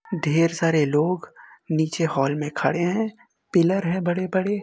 ढेर सारे लोग नीचे हॉल में खड़े हैं। पिलर हैं बड़े-बड़े।